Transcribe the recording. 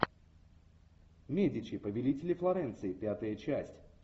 медичи повелители флоренции пятая часть